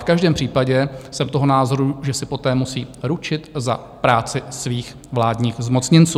V každém případě jsem toho názoru, že si poté musí ručit za práci svých vládních zmocněnců.